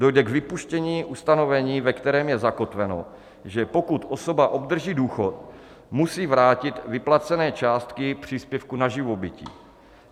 Dojde k vypuštění ustanovení, ve kterém je zakotveno, že pokud osoba obdrží důchod, musí vrátit vyplacené částky příspěvku na živobytí.